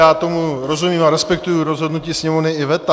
Já tomu rozumím a respektuji rozhodnutí sněmovny i veta.